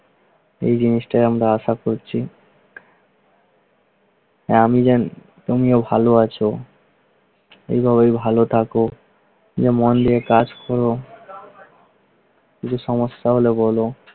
এই জিনিসটাই আমরা আশা করছি তাই আমি চাই তুমিও ভালো আছো, কিভাবে ভালো থাকো, শুধু মন দিয়ে কাজ করো। কিছু সমস্যা হলে বলো